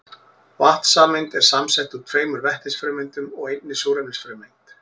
Vatnssameind eru samsett úr tveimur vetnisfrumeindum og einni súrefnisfrumeind.